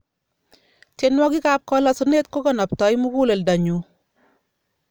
tienwokik ap kalasunet kokanaptai mukuleldo nyuu